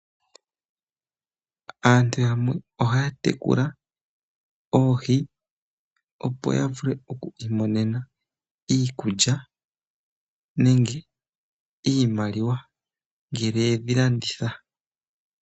Aantu yamwe ohaya tekula oohi opo ya vule oku imonena iikulya nenge iimaliwa ngele yedhilanditha.